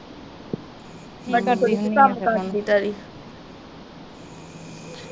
ਵੱਡਾ ਕੁੜੀ ਕੀ ਕੰਮ ਕਰਦੀ ਤੇਰੀ